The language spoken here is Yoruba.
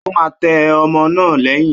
Ó máa tẹ́ ọmọ náà lẹ́yìn